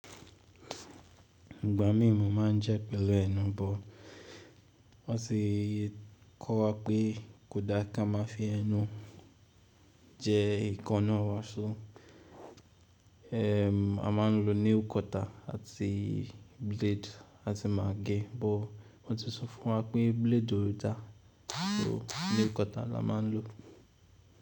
Ìgbà mí mo ma ń jẹ́ pẹ̀lú ẹnu, bó wọ́n sì kọ́ wa pé kò dá ká má fi ẹnu jẹ ekaná wa. So, eh a má ń lo nail cutter àti blade lati mà gẹ́, bó wọ́n ti sọ fún wa pé blade ò da. So nail cutter la má ń lò.